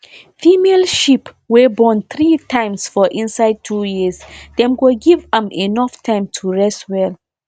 female sheep wey born three times for inside two years dem go give am enough time to rest well